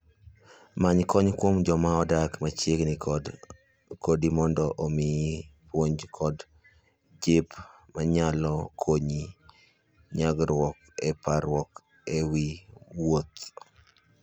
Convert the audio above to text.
Many kony kuom joma odak machiegni kodi mondo omiyi puonj kod jip manyalo konyi nyagruok gi parruok e wi wuoth.